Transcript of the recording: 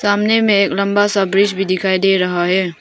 सामने में एक लंबा सा ब्रिज भी दिखाई दे रहा है।